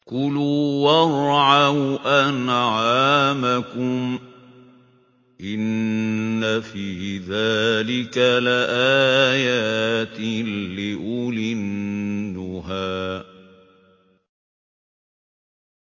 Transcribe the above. كُلُوا وَارْعَوْا أَنْعَامَكُمْ ۗ إِنَّ فِي ذَٰلِكَ لَآيَاتٍ لِّأُولِي النُّهَىٰ